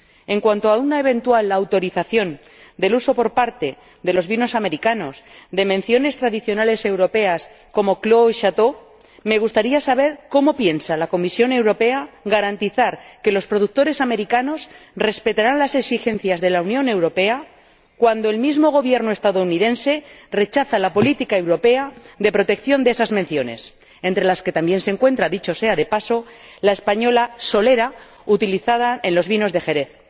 En cuanto a una eventual autorización del uso por parte de los vinos estadounidenses de menciones tradicionales europeas como Clos y Château, me gustaría saber cómo piensa la Comisión Europea garantizar que los productores estadounidenses respetarán las exigencias de la Unión Europea, cuando el mismo Gobierno estadounidense rechaza la política europea de protección de esas menciones, entre las que también se encuentra, dicho sea de paso, la española Solera, utilizada en los vinos de Jerez.